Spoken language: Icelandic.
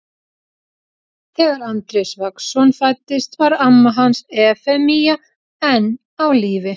Þegar Andrés Vagnsson fæddist var amma hans Efemía enn á lífi.